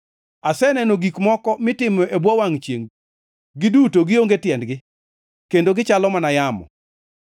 Aseneno gik moko mitimo e bwo wangʼ chiengʼ, giduto gionge tiendgi, kendo gichalo mana yamo.